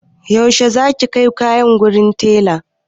Yaushe za ki kai kayan wurin taila?